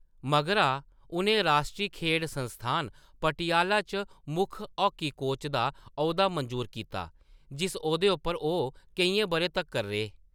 मगरा, उʼनें राश्ट्री खेढ संस्थान, पटियाला च मुक्ख हॉकी कोच दा औह्‌दा मंजूर कीता, जिस औह्‌दे उप्पर ओह्‌‌ केइयें बʼरें तक्कर रेह्।